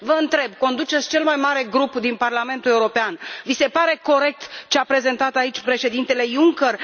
Vă întreb conduceți cel mai mare grup din Parlamentul European, vi se pare corect ce a prezentat aici președintele Juncker?